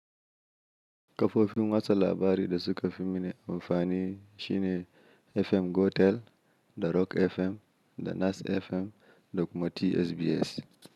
Kafofin watsa labari da suka fimini amfani shine FM Gotel da Rock FM da Nas FM da kuma TSBS.